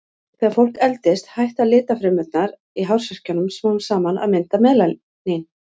Þegar fólk eldist hætta litfrumurnar í hársekkjunum smám saman að mynda melanín.